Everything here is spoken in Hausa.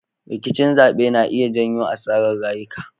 Rikicin zabe na iya janyo asarar rayuka.